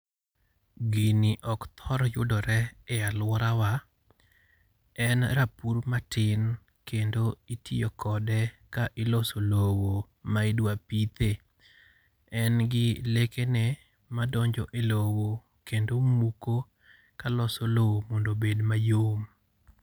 Gini ok thor yudore e alworawa. En rapur matin kendo itiyo kode ka iloso lowo ma idwa pithe. En gi lekene ma donjo e lowo, kendo muko ka loso lowo mondo obed mayom.